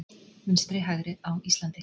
Vinstri-hægri á Íslandi